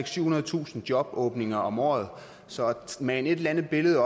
syvhundredetusind jobåbninger om året så at mane et eller andet billede